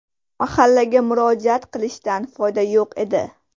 Mahallaga murojaat qilishdan foyda yo‘q edi.